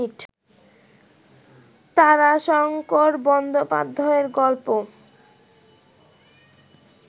তারাশংকর বন্দ্যোপাধ্যায়ের গল্প